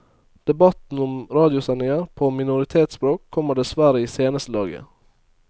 Debatten om radiosendinger på minoritetsspråk kommer dessverre i seneste laget.